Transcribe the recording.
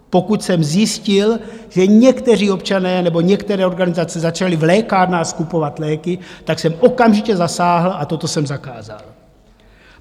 Pokud jsem zjistil, že někteří občané nebo některé organizace začali v lékárnách skupovat léky, tak jsem okamžitě zasáhl a toto jsem zakázal.